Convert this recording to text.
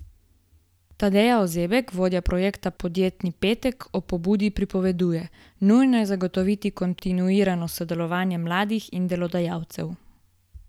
Tadeja Ozebek, vodja projekta Podjetni petek, o pobudi pripoveduje: "Nujno je zagotoviti kontinuirano sodelovanje mladih in delodajalcev.